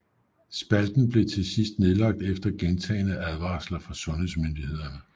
Spalten blev til sidst nedlagt efter gentagne advarsler fra sundhedsmyndighederne